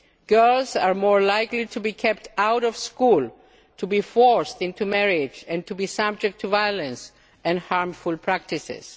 Girls are more likely to be kept out of school, to be forced into marriage and to be subject to violence and harmful practices.